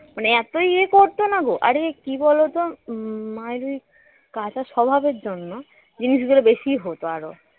মানে এত ইয়ে করত না গো অরে কি বলতো উম মায়ের এই কাচা স্বভাবের জন্য জিনিসগুলো বেশি হোত আর